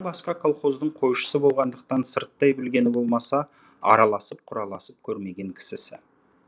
бұрындары басқа колхоздың қойшысы болғандықтан сырттай білгені болмаса араласып құраласып көрмеген кісісі